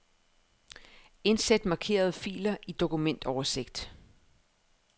Indsæt markerede filer i dokumentoversigt.